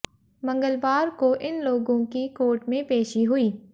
मंगवलार को इन लोगों की कोर्ट में पेशी हुई